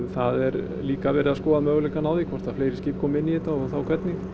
það er líka verið að skoða möguleikana á því hvort að fleiri skip komi inn í þetta og þá hvernig